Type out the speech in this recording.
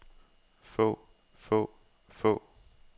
få få få